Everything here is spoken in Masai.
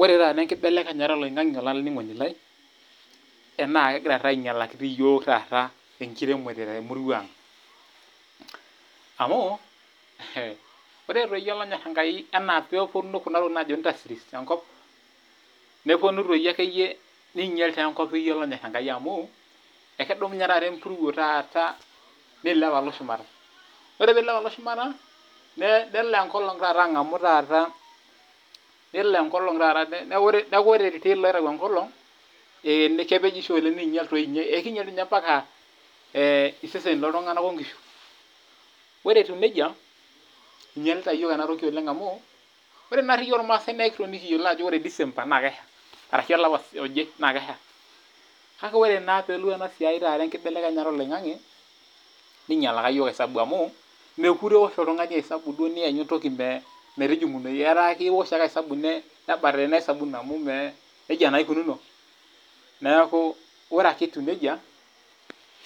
Ore taata enkibelekenyata oloingange olaininingoni lai, naa kegira taata ainyalaki yiok enkiremore temurua ang. Amu ore doi olonyor Enkai enaa pee eponu kuna tokiting naajo industries enkop, neponu taa akeyie neinyala enkop olonyor Enkai amu, ekedumunye taata empuruo neilep alo shumata. Ore pee eilep alo shumata, ore iltill loitayu enkolong ekepenyisho ,keinyel doi ninye iseseni looltunganak mpaka loonkishu. Ore etiu nejia ,einyalita yiok ena toki amu, ore naari yiok irmaasai naa ekitoni kiyiolo ajo ore December naa kesha arashu olapa oje naa Kesha. Kake ore naa pee elotu ena siai taata enkibelekenyata oloingange, ninyalaki yiok esabu amu ,mookure duo iosh oltungani esabu niyanyu metinyingunoyu ,etaa iosh ake eisabu nebatata amu nejia naa eikununo. Ore etiu nejia